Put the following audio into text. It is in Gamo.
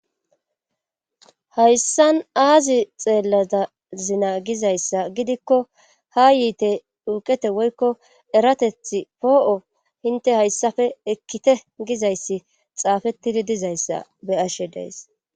hayssan aazi xeellada zina gizayssa gidikko ha yiite iwuqete woykko erateth poo7o hinte hayssafe ekkite gizayssi xaafettidi dizayssa be ashe dees